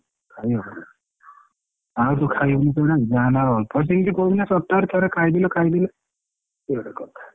ଖଇନଥିଲ ଆଉକୁ ଖାଇକି ପୁରା ଜାମ ହେଇଯିବ ହଁ ସେମିତି ସପ୍ତାହରେ ଥରେ ଖାଇଦେଲ ଖାଇଦେଲ ଇଏ ଗୋଟେ କଥା।